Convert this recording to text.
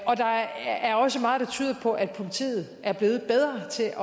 der er også meget der tyder på at politiet er blevet bedre til at